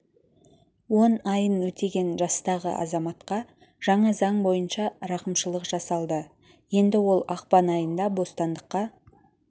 он айын өтеген жастағы азаматқа жаңа заң бойынша рақышылық жасалды енді ол ақпан айында бостандыққа